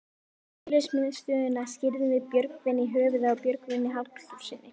Félagsmiðstöðina skírðum við Björgvin í höfuðið á Björgvini Halldórssyni.